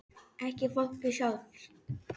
Ekki fólkið sjálft.